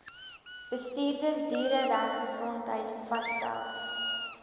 bestuurder dieregesondheid vasstel